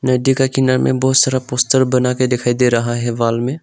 नदी का किनारा में बहुत सारा पोस्टर बना के दिखाई दे रहा है वॉल में।